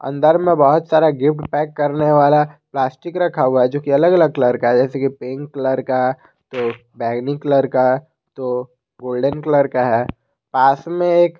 अंदर में बहुत सारा गिफ्ट पैक करने वाला प्लास्टिक रखा हुआ है जो की अलग अलग कलर का है जैसे कि पिंक कलर का तो बैंगनी कलर का तो गोल्डन कलर का है पास में एक--